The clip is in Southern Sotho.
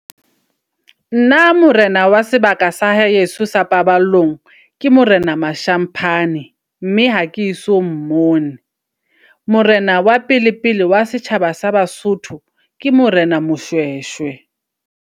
Nna morena wa sebaka sa heso sa paballong ke morena Mashamphane. Mme ha ke so mmone. Morena wa pele pele wa setjhaba sa baSotho ke morena Moshweshwe.